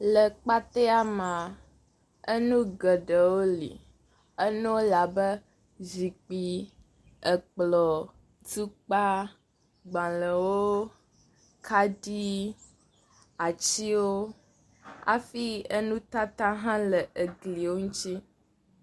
Le exɔa mea, nu geɖewo li, enuwo li abe zikpui, ekplɔ, tukpa, gbalẽwo, kaɖi, atiwo, afi enutata hã le egliwo ŋuti.